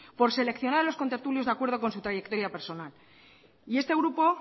por seleccionar a los contertulios de acuerdo con su trayectoria personal y este grupo